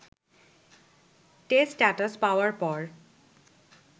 test status পাওয়ার পর